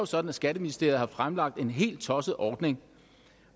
sådan at skatteministeriet har fremlagt en helt tosset ordning